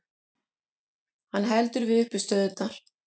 Hann heldur við uppistöðurnar.